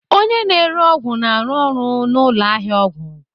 Oynye na-ere ọgwụ na-arụ ọrụ na ụlọ ahịa ọgwụ